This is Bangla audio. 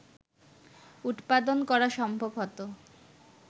উৎপাদন করা সম্ভব হতো